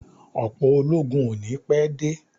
Ọ̀pọ̀ ológun ò ní pé dé